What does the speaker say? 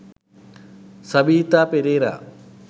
sabeetha perera